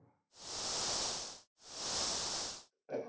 કેમાં